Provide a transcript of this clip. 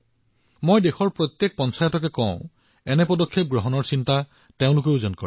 মই দেশৰ প্ৰতিখন পঞ্চায়তক এনেধৰণৰ কিবা কৰাৰ বিষয়ে চিন্তা কৰিবলৈ কম